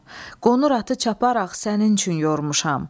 Qonur atı çaparax sənin üçün yormuşam.